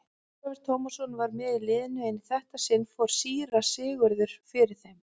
Ólafur Tómasson var með í liðinu en í þetta sinn fór síra Sigurður fyrir þeim.